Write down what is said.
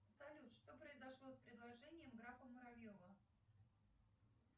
салют что произошло с предложением графа муравьева